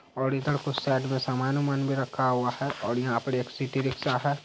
और इधर कुछ साइड में सामान-ओमान भी रखा हुआ है और यहाँ पर एक सिटी रिक्शा है।